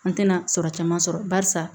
An tɛna sɔrɔ caman sɔrɔ barisa